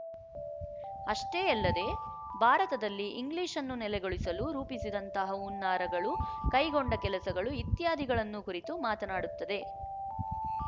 ಅಷ್ಟೇ ಯಲ್ಲದೇ ಭಾರತದಲ್ಲಿ ಇಂಗ್ಲಿಶ್‌ ಅನ್ನು ನೆಲೆಗೊಳಿಸಲು ರೂಪಿಸಿದಂತಹ ಹುನ್ನಾರಗಳು ಕೈಗೊಂಡ ಕೆಲಸಗಳು ಇತ್ಯಾದಿಗಳನ್ನು ಕುರಿತು ಮಾತನ್ನಾಡುತ್ತದೆ